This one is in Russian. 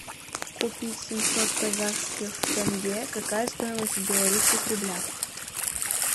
купить семьсот казахских тенге какая стоимость в белорусских рублях